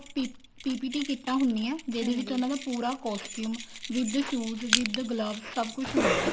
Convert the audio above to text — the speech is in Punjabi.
PPT ਕਿੱਟਾਂ ਹੁੰਦੀਆਂ ਜਿਹਨਾ ਵਿੱਚ ਉਹਨਾ ਦਾ ਪੂਰਾ costume with shoes with gloves ਸਭ ਕੁੱਛ ਹੁੰਦਾ